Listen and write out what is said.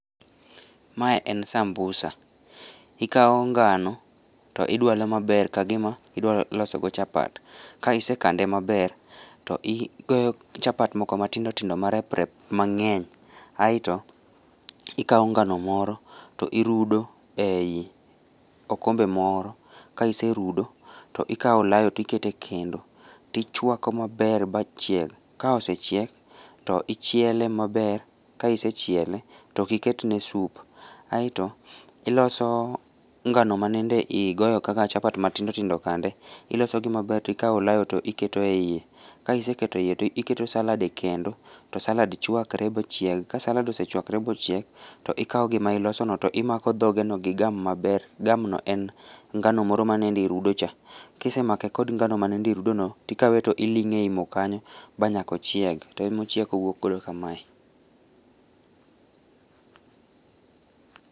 Mae en sambusa, ikao ngano to idwalo maber kagima idwalosogo chapat, ka isekande maber, to igoyo chapat moko matindotindo mareprep mang'eny, aeto ikao ngano moro to irudo ei okombe moro, kaiserudo to ikao olayo to ikete kendo tichwako maber ba chieg' ka osechiek to ichiele maber, ka isechiele to okiketne soup aeto iloso ngano ma nende igoyo kaka chapat matindotindo kande, ilosogi maber to ikao olayo to iketo e iye, ka iseketo e iye to ikao salad e kendo to salad chwakre ba chieg, ka salad osechwakre ba ochiek to ikao gima ilosono to imako dhogeno gi gam maber, gamno en ngano moro manende irudocha, kisemake gi ngano ma nende irudono to ikawe to iling'e ei moo kanyo ba nyaka ochieg to emaochiek owokgodo kamae.